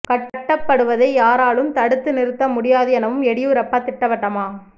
கட்டப்படுவதை யாராலும் தடுத்து நிறுத்த முடியாது எனவும் எடியூரப்பா திட்டவட்டமா